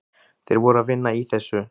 Þeir voru að vinna í þessu.